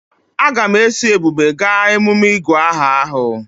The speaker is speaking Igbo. Aga m eso Ebube gaa emume ịgụ aha ahụ.